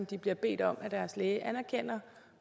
de bliver bedt om af deres læge anerkender